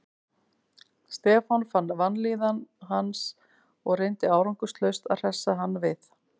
Stefán fann vanlíðan hans og reyndi árangurslaust að hressa hann við.